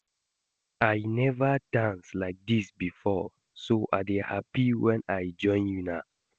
I never dance like dis before so I dey happy wen I join una